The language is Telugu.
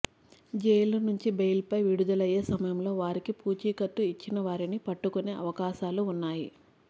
జైళ్ళ నుంచి బెయిల్పై విడుదలయ్యే సమయంలో వారికి పూచికత్తు ఇచ్చిన వారిని పట్టుకునే అవకాశాలు ఉన్నాయి